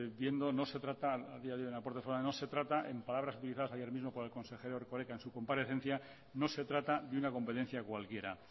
viendo no se trata en palabras utilizadas ayer mismo por el consejero erkoreka en su comparecencia de una comparecencia cualquiera